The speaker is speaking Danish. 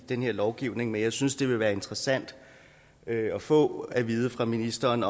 den her lovgivning men jeg synes det kunne være interessant at få at vide af ministeren